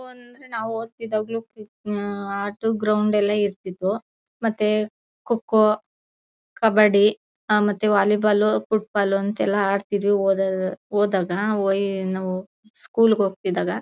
ನಾವು ಓದ್ತಿದ್ವಾಗ್ಲೂ ಆಟೋ ಗ್ರೌಂಡ್ ಎಲ್ಲ ಇರ್ತಿದ್ವೋ ಮತ್ತೇ ಕೊಕ್ಕೋ ಕಬಡ್ಡಿ ಆ ಮತ್ತೆ ವಾಲಿಬಾಲ್ ಅಂತೂ ಆಡ್ತಿದ್ವಿ ಹೋದಾಗ ಹೋದಾಗ ನಾವ್ ನಾವ್ ಸ್ಕೂಲ್ ಹೋಗ್ತಿದ್ದಾಗ.